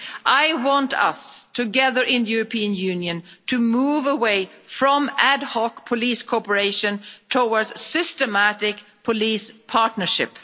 I want us, together in the European Union, to move away from ad hoc police cooperation towards systematic police partnership.